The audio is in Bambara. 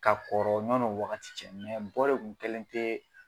Ka kɔrɔ ɲɔnɔ o wagati dɔ kun kɛlen te